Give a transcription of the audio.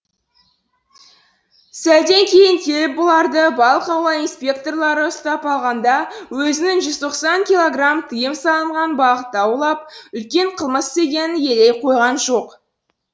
сәлден кейін келіп бұларды балық аулау инспекторлары ұстап алғанда да өзінің жүз тоқсан килограмм тыйым салынған балықты аулап үлкен қылмыс істегенін елей қойған жоқ